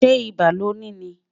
ṣé ibà loni ní?